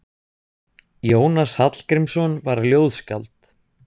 Jónas Hallgrímsson var ljóðskáld.